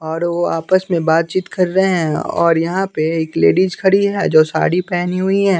और वो आपस में बातचीत कर रहे हैं और यहाँ पे एक लेडीज खड़ी है जो साड़ी पहनी हुई है --